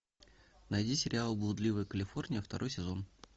найди сериал блудливая калифорния второй сезон